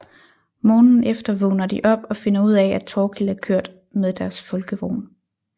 Morgenen efter vågner de op og finder ud af at Thorkild er kørt med deres Folkevogn